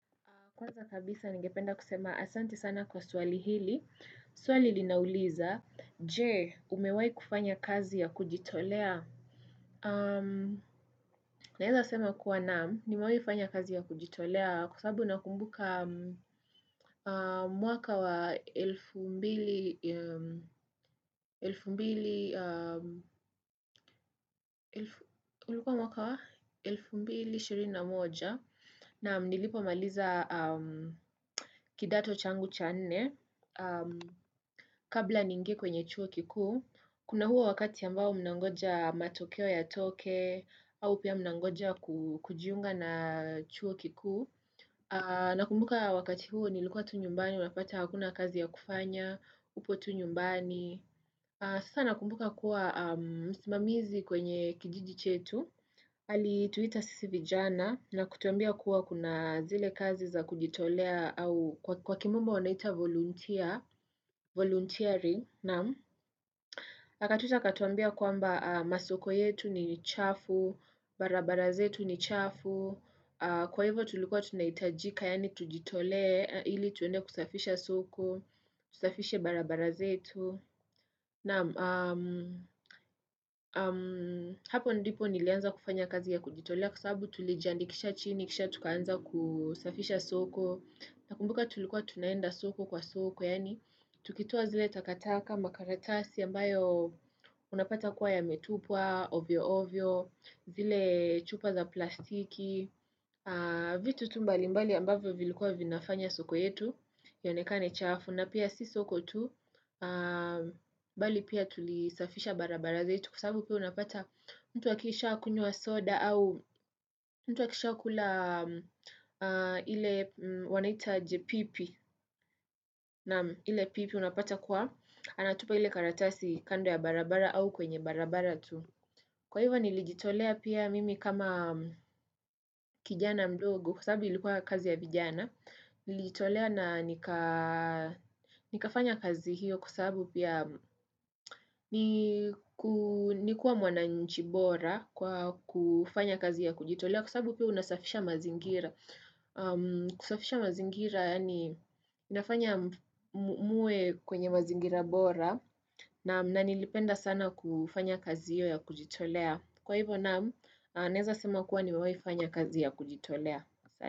Kwanza kabisa ningependa kusema asante sana kwa swali hili. Swali linauliza Je umewai kufanya kazi ya kujitolea? Naweza sema kuwa naam, nimewai fanya kazi ya kujitolea. Kwa sababu nakumbuka mwaka wa elfu mbili elfu mbili ulikuwa mwaka wa? Elfu mbili ishirini moja naamnilipo maliza kidato changu cha nne. Kabla niingie kwenye chuo kiku, kuna huo wakati ambao mnangoja matokeo yatoke, au pia mnangoja kujiunga na chuo kikuu, nakumbuka wakati huo nilikuwa tu nyumbani, unapata hakuna kazi ya kufanya, upo tu nyumbani. Sasa nakumbuka kuwa msimamizi kwenye kijiji chetu, alituita sisi vijana na kutuambia kuwa kuna zile kazi za kujitolea au kwa kimombo wanaita volunteer, volunteering, naam. Akatuita akatuambia kwamba masoko yetu ni chafu, barabara zetu ni chafu, kwa hivyo tulikuwa tunahitajika, yani tujitole, ili tuende kusafisha soko, tusafishe barabara zetu, naam hapo ndipo nilianza kufanya kazi ya kujitolea kwa sabubu tulijandikisha chini, kisha tukaanza kusafisha soko. Nakumbuka tulikuwa tunaenda soko kwa soko, yaani tukitoa zile takataka makaratasi ambayo unapata kuwa yametupwa, ovyo ovyo, zile chupa za plastiki, vitu tu mbali ambayo vilikuwa vinafanya soko yetu, ionekane chafu, na pia si soko tu, bali pia tulisafisha barabara zetu. Kwa sababu pia unapata mtu akisha kunywa soda au mtu akisha kula ile wanaita aje? Pipi na ile pipi unapata kuwa anatupa ile karatasi kando ya barabara au kwenye barabara tu. Kwa hivyo nilijitolea pia mimi kama kijana mdogo kwa sababu ilikuwa kazi ya vijana. Nilijitolea na nikafanya kazi hiyo kwa sababu pia ni kuwa mwananchi bora kwa kufanya kazi ya kujitolea kwa sababu pia unasafisha mazingira kusafisha mazingira yani inafanya muwe kwenye mazingira bora naam na nilipenda sana kufanya kazi hiyo ya kujitolea. Kwa hivyo naam naeza sema kuwa nimewai fanya kazi ya kujitolea.